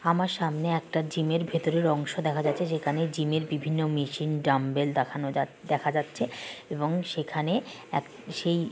আমার সামনে একটা জিমে এর ভেতরে অংশ দেখা যাচ্ছে। যেখানে জিমের বিভিন্ন মেশিন ডাম্বেল দেখানো যা-- দেখা যাচ্ছে। এবং সেখানে এক সেই--